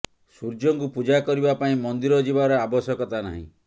ସୂର୍ଯ୍ୟ ଙ୍କୁ ପୂଜା କରିବା ପାଇଁ ମନ୍ଦିର ଯିବାର ଆବଶ୍ୟକତା ନାହିଁ